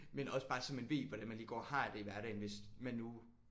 Men også bare så man ved hvordan man lige går og har det i hverdagen hvis man nu